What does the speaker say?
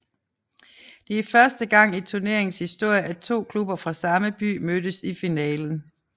Det er første gang i turneringens historie at to klubber fra samme by mødtes i finalen